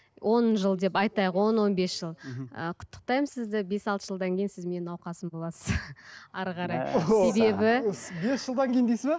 он жыл деп айтайық он он бес жыл ы құттықтаймын сізді бес алты жылдан кейін сіз менің науқасым боласыз әрі қарай